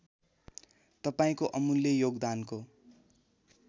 तपाईँको अमूल्य योगदानको